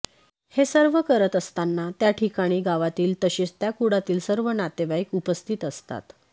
हे सर्व करत असताना त्या ठिकाणी गावातील तसेच त्या कुळातील सर्व नातेवाईक उपस्थित असतात